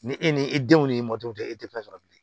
Ni e ni e denw ni mɔdenw tɛ e tɛ fɛn sɔrɔ bilen